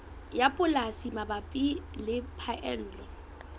ya polasi mabapi le phaello